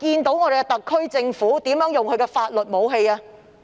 特區政府怎樣使用這種法律武器呢？